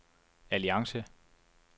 alliance